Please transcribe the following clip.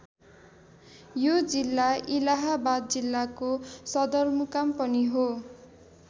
यो जिल्ला इलाहाबाद जिल्लाको सदरमुकाम पनि हो।